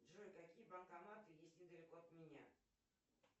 джой какие банкоматы есть недалеко от меня